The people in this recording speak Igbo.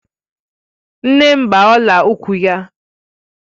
Nne m gba ọla ukwu ya